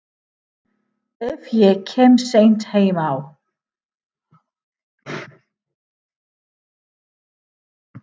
Ef ég kem seint heim á